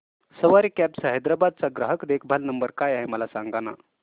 सवारी cabs Hyderabad चा ग्राहक देखभाल नंबर काय आहे मला सांगाना